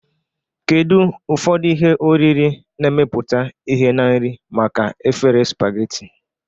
Kedu ụfọdụ ihe oriri na-emepụta ihe na nri maka efere spaghetti?